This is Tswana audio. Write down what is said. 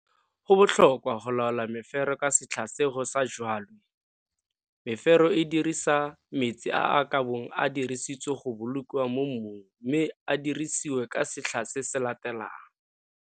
Go botlhokwa go laola mefero ka setlha se go sa jwalwe. Mefero e dirisa metsi a a ka bong a dirisitswe go bolokiwa mo mmung mme a dirisiwe ka setlha se se latelang.